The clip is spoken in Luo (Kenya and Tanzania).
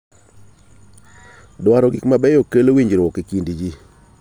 Dwaro gik mabeyo kelo winjruok e kind ji.